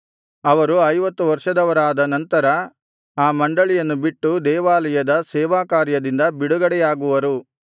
ಅವರು ಐವತ್ತು ವರ್ಷದವರಾದ ನಂತರ ಆ ಮಂಡಳಿಯನ್ನು ಬಿಟ್ಟು ದೇವಾಲಯದ ಸೇವಾಕಾರ್ಯದಿಂದ ಬಿಡುಗಡೆಯಾಗುವರು